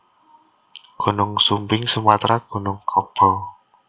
Gunung Sumbing Sumatra Gunung Kaba